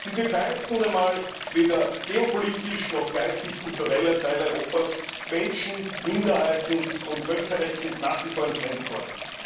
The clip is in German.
Die Türkei ist nun einmal weder geopolitisch noch geistig kulturell ein Teil Europas. Menschenrechte, Minderheitenrechte und Völkerrecht sind nach wie vor Fremdworte.